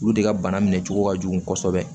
Olu de ka bana minɛ cogo ka jugu kosɛbɛ